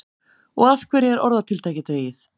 Og af hverju er orðatiltækið dregið?